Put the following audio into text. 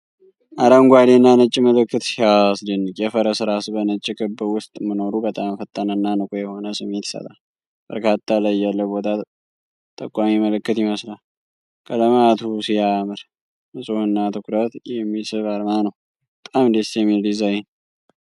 አረንጓዴ እና ነጭ ምልክት ሲያስደንቅ! የፈረስ ራስ በነጭ ክብ ውስጥ መኖሩ በጣም ፈጣንና ንቁ የሆነ ስሜት ይሰጣል። በካርታ ላይ ያለ ቦታ ጠቋሚ ምልክት ይመስላል። ቀለማቱ ሲያምር፣ ንፁህና ትኩረት የሚስብ አርማ ነው። በጣም ደስ የሚል ዲዛይን!